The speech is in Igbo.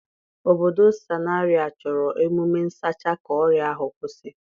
Obodo Sanari a chọrọ emume nsacha ka ọrịa ahụ kwụsị.